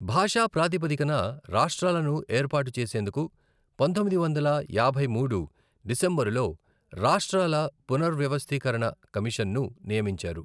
భాషా ప్రాతిపదికన రాష్ట్రాలను ఏర్పాటు చేసేందుకు, పంతొమ్మిది వందల యాభై మూడు డిసెంబరులో రాష్ట్రాల పునర్వ్యవస్థీకరణ కమిషన్ను నియమించారు.